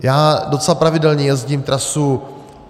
Já docela pravidelně jezdím trasu